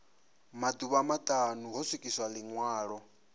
maḓuvha maṱanu ho swikiswa ḽiṅwalo